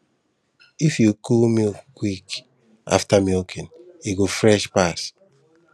if you cool milk quick after milking e go fresh pass